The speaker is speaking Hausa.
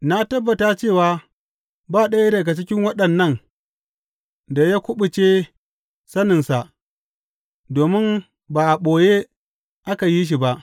Na tabbata cewa ba ɗaya daga cikin waɗannan da ya kuɓuce saninsa, domin ba a ɓoye aka yi shi ba.